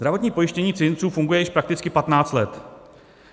Zdravotní pojištění cizinců funguje již prakticky 15 let.